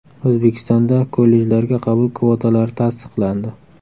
O‘zbekistonda kollejlarga qabul kvotalari tasdiqlandi.